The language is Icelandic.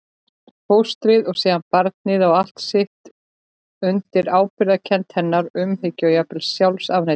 Fóstrið og síðan barnið á allt sitt undir ábyrgðarkennd hennar, umhyggju og jafnvel sjálfsafneitun.